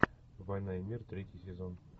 война и мир третий сезон